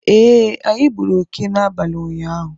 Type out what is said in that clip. eeh, anyị gburu oke n'abalị ụnyaahụ